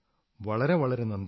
വളരെ വളരെ നന്ദി